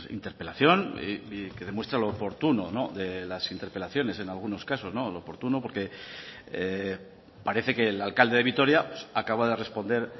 interpelación que demuestra lo oportuno de las interpelaciones en algunos casos oportuno porque parece que el alcalde de vitoria acaba de responder